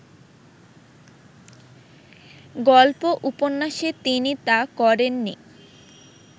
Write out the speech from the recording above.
গল্প-উপন্যাসে তিনি তা করেননি